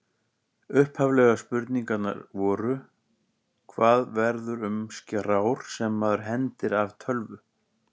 Upphaflegu spurningarnar voru: Hvað verður um skrár sem maður hendir af tölvu?